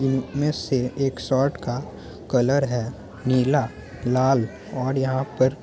इनमें से एक शर्ट का कलर है नीला लाल और यहाँ पर --